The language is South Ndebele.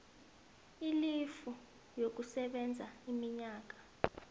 ilifu yokusebenza iminyaka